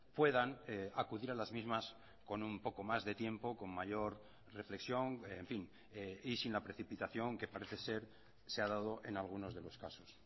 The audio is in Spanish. puedan acudir a las mismas con un poco más de tiempo con mayor reflexión en fin y sin la precipitación que parece ser se ha dado en algunos de los casos